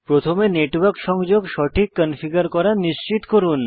প্রথমে নেটওয়ার্ক সংযোগ সঠিক কনফিগার করা নিশ্চিত করুন